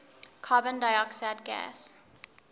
carbon dioxide gas